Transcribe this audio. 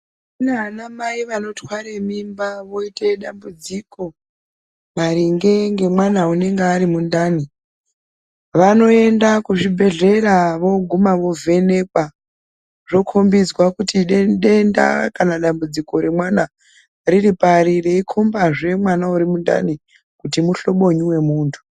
Kunaanamai vanotware mimba voite dambudziko maringe ngemwana unenge ari mundani. Vanoenda kuzvibhedhlera vooguma vovhenekwa zvokombidzwa kuti denda kana dambudziko remwana riripari. Reikombazve mwana urimundani kuti muhlobonyi womuntu.